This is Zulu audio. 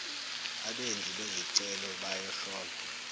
abenzi bezicelo bayohlolwa